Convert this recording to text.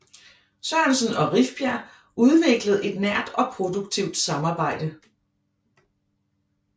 Sørensen og Rifbjerg udviklede et nært og produktivt samarbejde